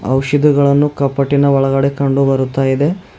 ಔಷಧಿಗಳನ್ನು ಕಪ್ಪಟಿನ ಒಳಗಡೆ ಕಂಡು ಬರುತಾ ಇದೆ.